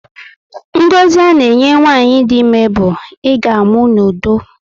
Ngọzi a na enye nwanyị dị ímé bu, "I ga amụ n'udo"